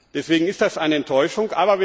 Deswegen ist das eine Enttäuschung.